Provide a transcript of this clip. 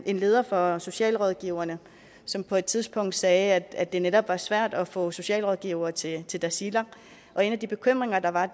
en leder fra socialrådgiverne som på et tidspunkt sagde at det netop var svært at få socialrådgivere til til tasiilaq og en af de bekymringer der var